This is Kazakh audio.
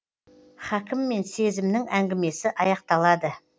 хакім мен сезімнің әңгімесі аяқталады